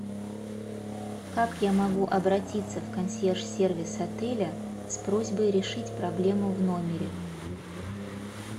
как я могу обратиться в консьерж сервис отеля с просьбой решить проблему в номере